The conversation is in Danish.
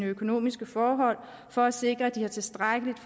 økonomiske forhold for at sikre at de har tilstrækkeligt